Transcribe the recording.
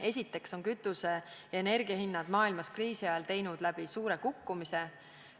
Esiteks on kütuse- ja energiahinnad maailmas teinud kriisi ajal läbi suure kukkumise.